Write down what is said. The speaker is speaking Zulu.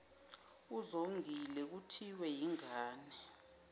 uzongile kuthiwe yingane